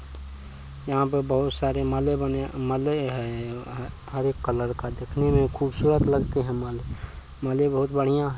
यहाँ पे बहुत सारे माले बने हैं माले हैं हर एक कलर का देखने में खूबसूरत लगते हैं माले माले बहुत बढ़ियां है।